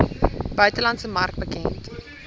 buitelandse mark bekend